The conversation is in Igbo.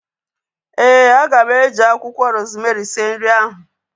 Ee, aga m e ji akwụkwọ rozmerị sie nri ahu